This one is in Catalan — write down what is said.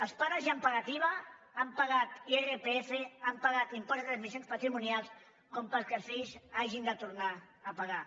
els pares ja han pagat iva han pagat irpf han pagat impost de transmissions patrimonials perquè els fills hagin de tornar a pagar